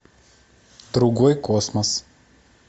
другой космос